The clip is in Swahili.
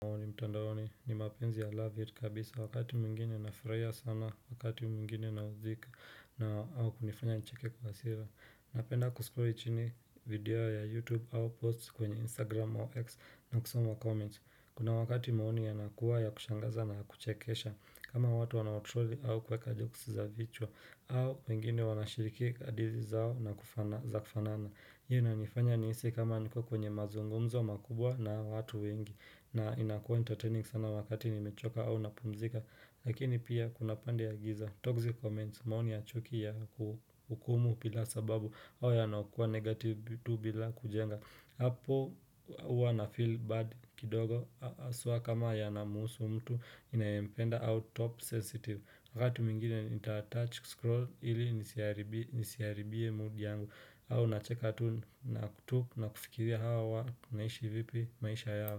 Maoni mtandaoni ni mapenzi ya love it kabisa wakati mwingine nafurahia sana wakati mwingine naudhika na au kunifanya nicheke kwa hasira napenda kuscroll chini video ya youtube au post kwenye instagram au x na kusoma comments kuna wakati maoni yanakuwa yakushangaza na kuchekesha kama watu wanaotroli au kweka joksi za vichwa au wengine wanashiriki kadiri zao za kufanana hiyo na nifanya nihisi kama niko kwenye mazungumzo makubwa na watu wengi na inakuwa entertaining sana wakati nimechoka au napumzika Lakini pia kuna pande ya giza toxic comments maoni ya chuki ya kuhukumu bila sababu au yanayokua negative tu bila kujenga hapo huwa na feel bad kidogo haswa kama yanamuhusu mtu ninayempenda au top sensitive wakatu mwingine nita-touch scroll ili nisiharibie mood yangu au nacheka tu na kufikiria hawa wanaishi vipi maisha yao.